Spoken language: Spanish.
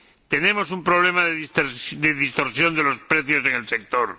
Tenemos un problema de distorsión de los precios en el sector.